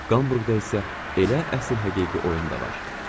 Qamburqda isə elə əsl həqiqi oyun da var.